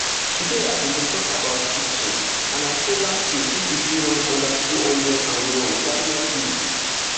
today i bin dey about kiptum and i say last year if e fit run under two hundred and one why not me